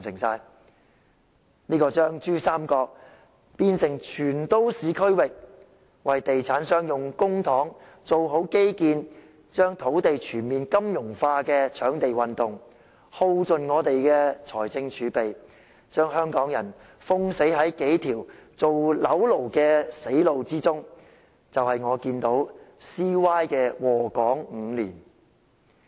這個把珠三角變成全都市區域、為地產商用公帑做好基建、把土地全面金融化的"搶地運動"，耗盡本港的財政儲備，把香港人封死在數條做"樓奴"的死路之中，就是我看到 CY 禍港5年的結果。